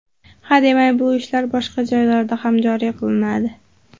Hademay bu ishlar boshqa joylarda ham joriy qilinadi.